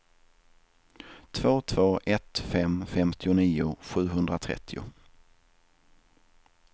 två två ett fem femtionio sjuhundratrettio